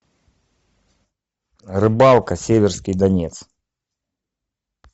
рыбалка северский донец